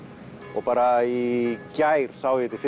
og bara í gær sá ég þetta